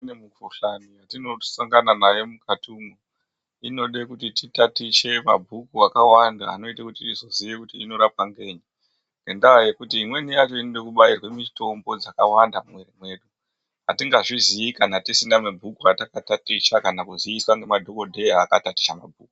Kune mikuhlani yatinosangana nayo mukati umu inoda kuti titatiche mabhuku akawanda anoita kuti tizoziye kuti inorapwa ngenyi. Ngendaa yekuti imweni yachona inoda kubairwa mitombo dzakawanda mumwiri mwedu . Atingazvizii kana tisina kutaticha mabhuku kana kuziiswa ngenadhokodheya akataticha mabhuku.